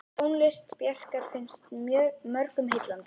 Tónlist Bjarkar finnst mörgum heillandi.